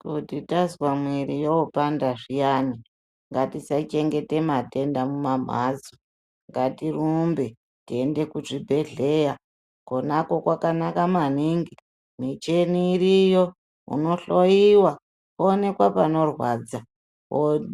Kuti tazwa mwiri yopanda zviyani, ngatisachengete matenda mumamhatso, ngatirumbe teyienda kuzvibhedhleya, konako kwakanaka maningi, michini iriyo, unohloyiwa wowonekwa panorwadza,